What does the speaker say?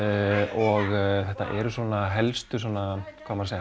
og þetta eru svona helstu